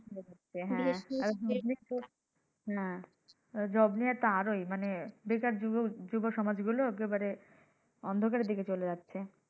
হ্যাঁ তারপর হ্যাঁ job নিয়েতো আরও মানি বেকার যুবকরা যুবসমাজরা অন্ধকারে চলে যাচ্ছে।